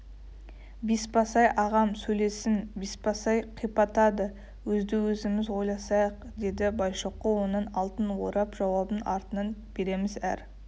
бесбасбай ағам сөйлесін бесбасбай қипақтады өзді-өзіміз ойласайық деді байшоқы оның алдын орап жауабын артынан береміз әр